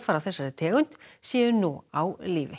af þessari tegund séu nú á lífi